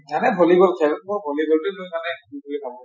এনেই ভলীবল খেল মই ভলীবল টো